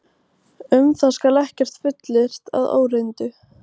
Um það skal ekkert fullyrt að óreyndu.